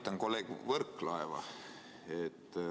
Ma aitan kolleeg Võrklaeva.